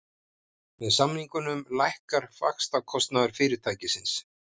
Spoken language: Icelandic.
Með samningunum lækkar vaxtakostnaður fyrirtækisins